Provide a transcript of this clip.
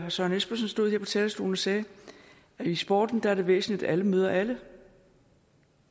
søren espersen stod her på talerstolen og sagde at i sporten er det væsentligt at alle møder alle